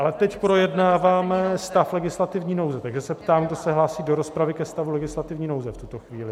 Ale teď projednáváme stav legislativní nouze, takže se ptám, kdo se hlásí do rozpravy ke stavu legislativní nouze v tuto chvíli.